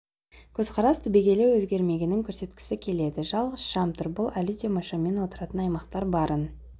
көзқарас түбегейлі өзгермегенін көрсеткісі келеді жалғыз шам тұр бұл әлі де майшаммен отыратын аймақтар барын